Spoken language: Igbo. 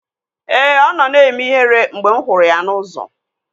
Ee, ọ nọ na-eme ihere mgbe m hụrụ ya n'ụzọ